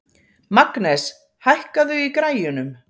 Magnes, hækkaðu í græjunum.